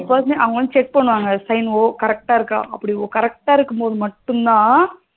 அவங்க வந்து check பண்ணுவாங்க sign correct அஹ இருக்கா அப்டி correct அஹ இருக்கும்போது மட்டும்தா